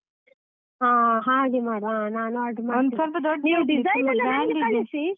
ಹಾ ಹಾಗೆ ಮಾಡುವ, ಹಾ ನಾನ್ order ಮಾಡ್ತೇನೆ .